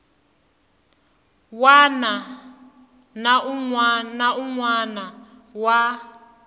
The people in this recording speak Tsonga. wana na un wana wa